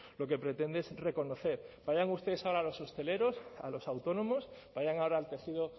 lo que pretende es reconocer vayan ustedes ahora a los hosteleros a los autónomos vayan ahora al tejido